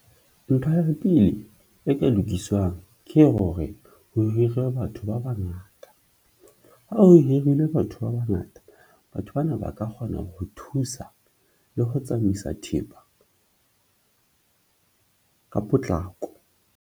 Ntho ya pele e ka lokiswang ke hore ho hirwe batho ba bangata, ha o hirile batho ba bangata. Batho bana ba ka kgona ho thusa le ho tsamaisa thepa ka potlako.